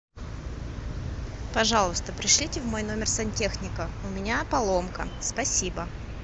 пожалуйста пришлите в мой номер сантехника у меня поломка спасибо